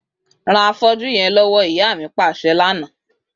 Ran afọ́jú yẹn lọwọ, ìyá mi paṣẹ lana.